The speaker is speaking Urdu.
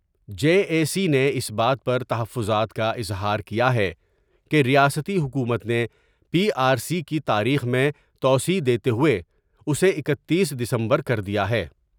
جے اے سی نے اس بات پر تحفظات کا اظہار کیا ہے کہ ریاستی حکومت نے پی آرسی کی تاریخ میں توسیع دیتے ہوۓ اسے اکتیس ڈسمبر کر دیا ہے ۔